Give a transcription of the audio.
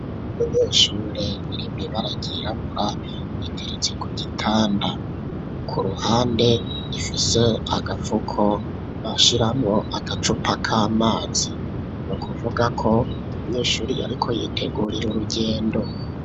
Munyeshure irimwibara ryirabura, iteretse ku gitanda, ku ruhande ifise agapfuko bashiramwo agacupa k'amazi ,nukuvuga ko umunyeshuri ariko yitegurire urugendo.